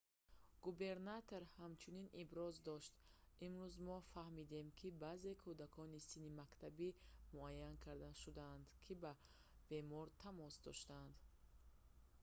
губернатор ҳамчунин иброз дошт имрӯз мо фаҳмидем ки баъзе кӯдакони синни мактабӣ муайян карда шудаанд ки бо бемор тамос доштанд